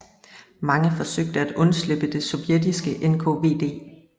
Mange forsøgte at undslippe det sovjetiske NKVD